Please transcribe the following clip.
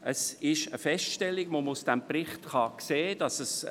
Der Bericht stellt fest, dass dafür Zeit notwendig ist.